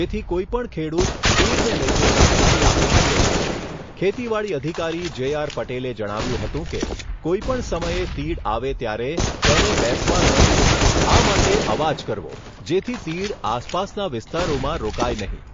જેથી કોઈપણ ખેડૂત તીડને લઈને જાણકારી આપી શકે છે ખેતીવાડી અધિકારી જેઆર પટેલે જણાવ્યુંં હતું કે, કોઈપણ સમયે તીડ આવે ત્યારે તેને બેસવા ન દેવી, આ માટે અવાજ કરવો જેથી તીડ આસપાસના વિસ્તારોમાં રોકાય નહીં...